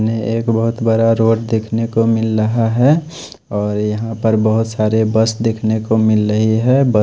सामने एक बहत बड़ा रोड देखने को मिल रहा है और यहाँ पर बहत सारे बस देखने को मिल रहे है ब --